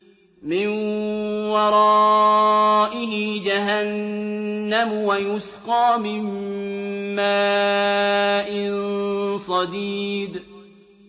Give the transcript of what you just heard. مِّن وَرَائِهِ جَهَنَّمُ وَيُسْقَىٰ مِن مَّاءٍ صَدِيدٍ